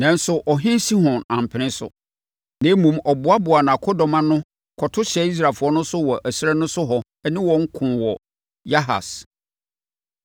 Nanso ɔhene Sihon ampene so. Na mmom, ɔboaboaa nʼakodɔm ano kɔto hyɛɛ Israelfoɔ so wɔ ɛserɛ so hɔ ne wɔn koo wɔ Yahas.